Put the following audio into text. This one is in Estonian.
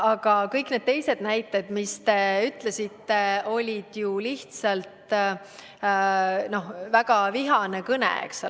Aga kõik need teised näited, mis te tõite, olid ju lihtsalt väga vihase kõne näited, eks ole.